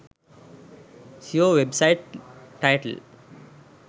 seo website title